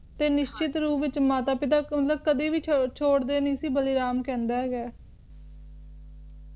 ਤੇ ਨਿਸ਼ਚਿਤ ਰੂਪ ਵਿਚ ਮਾਤਾ ਪਿਤਾ ਮਤਲਬ ਕਦੀ ਵੀ ਛੋੜਦੇ ਨਹੀਂ ਸੀ ਵੀ ਬਲੀਰਾਮ ਕਹਿੰਦਾ ਹੈਗਾ